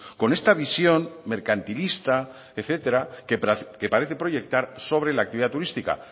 con esta visión mercantilista etcétera que parece proyectar sobre la actividad turística